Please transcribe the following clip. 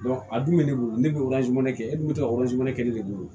a dun bɛ ne bolo ne bɛ kɛ e dun bɛ ka kɛ ne de bolo